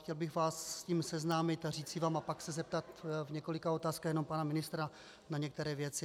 Chtěl bych vás s tím seznámit a říci vám a pak se zeptat v několika otázkách jenom pana ministra na některé věci.